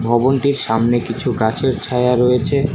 ভবনটির সামনে কিছু গাছের ছায়া রয়েছে।